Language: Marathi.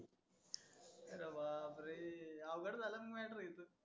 आरं बापरे. आवघड झालं ना mater हे तर.